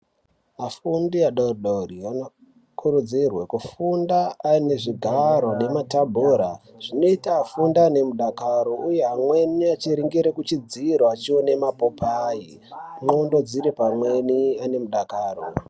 Afundi adodori anokurudzirwe kufunda aine zvigaro nematebhura zvinoite afunde ainemudakaro uye amweni achiningire kuchidziro achione mapopayi nxondo dziri pamweni anemudakaro.